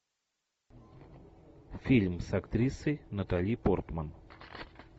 фильм с актрисой натали портман